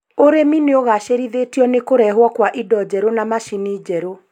ũrĩmi nĩũgacĩrithĩtio nĩ kũrehwo kwa indo njerũ na macini njerũ